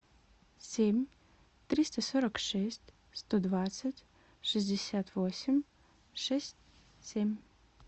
семь триста сорок шесть сто двадцать шестьдесят восемь шесть семь